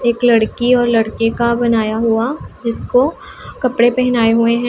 एक लड़की और लड़के का बनाया हुआ जिसको कपड़े पहनाए हुए है।